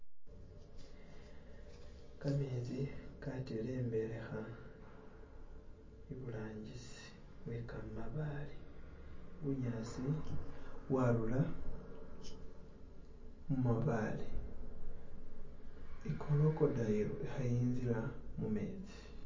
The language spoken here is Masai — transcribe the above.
kametsi katelembeleha iburangisi we kamabaale bunyasi bwarura mubabaale ikorokodayilo yayinzila mumetsi